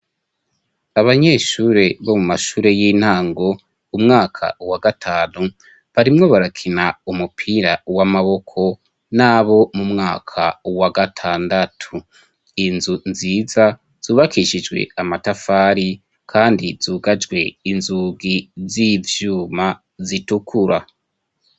Abanyeshure bo mu mashure y'intango umwaka wa gatanu barimwo barakina umupira w'amaboko nabo mu mwaka wa gatandatu, inzu nziza zubakishijwe amatafari kandi zugajwe inzugi z'ivyuma zitukura.